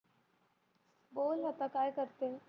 बोल लता काय करते?